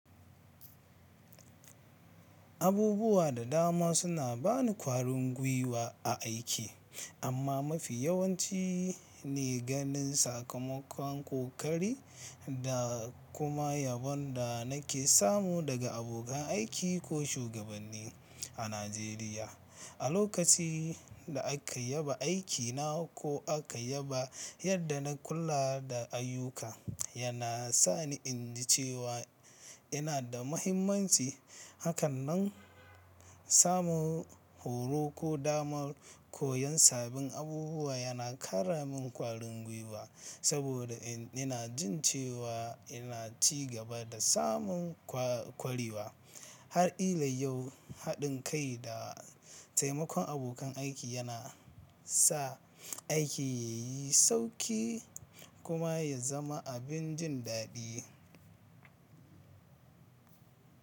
Abubuwa da dama suna ba ni kwarin gwiwa a aiki, amma mafi yawanci ne ganin sakamakon kokari da kuma yabon da nake samu daga abokan aiki ko shugabanni a Najeriya. A lokacin da aka yaba aikina ko aka yaba yadda na kula da ayyuka, yana sa ni in ji cewa ina da mahimmanci. Hakanan, samun horo ko dama koyon sabbin abubuwa yana ƙara min kwarin gwiwa saboda ina jin cewa ina ci gaba da samun kwarewa. Har ila yau, haɗin kai da taimakon abokan aiki yana sa aiki yayi sauki kuma ya zama abin jin daɗi.